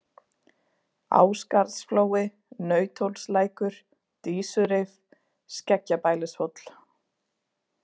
Ásgarðsflói, Nauthólslækur, Dísurif, Skeggjabælishóll